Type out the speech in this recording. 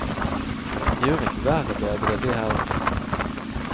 Det gjør ikke været bedre, det heller.